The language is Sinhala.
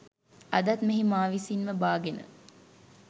අදත් මෙහි මා විසින්ම බාගෙන